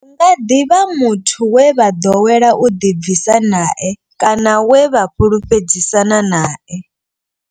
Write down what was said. Hu nga ḓi vha muthu we vha ḓowela u ḓi bvisa nae kana we vha fhulufhedzisana nae.